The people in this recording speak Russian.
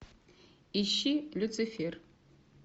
ищи люцифер